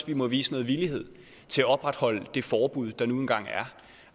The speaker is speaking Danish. vi må vise noget villighed til at opretholde det forbud der nu engang